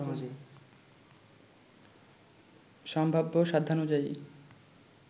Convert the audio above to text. সম্ভাব্য সাধ্যানুযায়ী